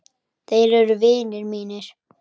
Þeir eru vinir mínir.